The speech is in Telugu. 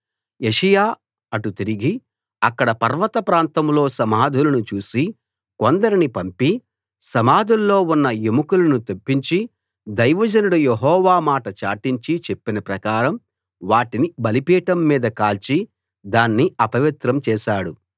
యోషీయా అటు తిరిగి అక్కడ పర్వత ప్రాంతంలో సమాధులను చూసి కొందరిని పంపి సమాధుల్లో ఉన్న ఎముకలను తెప్పించి దైవజనుడు యెహోవా మాట చాటించి చెప్పిన ప్రకారం వాటిని బలిపీఠం మీద కాల్చి దాన్ని అపవిత్రం చేశాడు